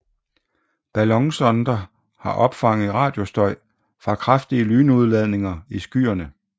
Ballonsonder har opfanget radiostøj fra kraftige lynudladninger i skyerne